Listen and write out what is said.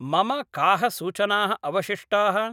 मम काः सूचनाः अवशिष्टाः?